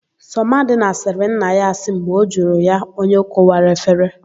Sọmadịna sịrị nna ya asị mgbe ọ jụrụ ya onye kụwara efere.